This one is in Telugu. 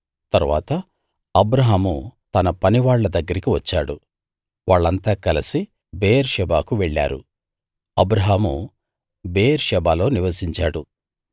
తరువాత అబ్రాహాము తన పనివాళ్ళ దగ్గరికి వచ్చాడు వాళ్ళంతా కలసి బెయేర్షెబాకు వెళ్ళారు అబ్రాహాము బెయేర్షెబాలో నివసించాడు